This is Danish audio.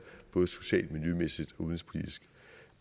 både socialt miljømæssigt udenrigspolitisk